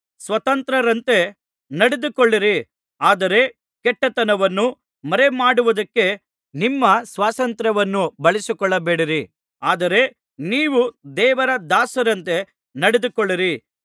ಸ್ವತಂತ್ರರಂತೆ ನಡೆದುಕೊಳ್ಳಿರಿ ಆದರೆ ಕೆಟ್ಟತನವನ್ನು ಮರೆಮಾಡುವುದಕ್ಕೆ ನಿಮ್ಮ ಸ್ವಾತಂತ್ರ್ಯವನ್ನು ಬಳಸಿಕೊಳ್ಳಬೇಡಿರಿ ಆದರೆ ನೀವು ದೇವರ ದಾಸರಂತೆ ನಡೆದುಕೊಳ್ಳಿರಿ